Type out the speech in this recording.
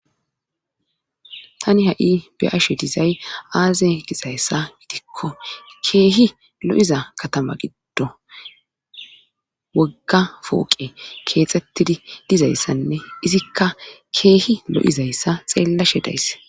tani ha7i be ashe dizay aaze gizayssa gitikko keehi lo7iza katama giddo wogga fooqe keexxettidi dizayssanne izikka keehi lo7izayssa xeellashe days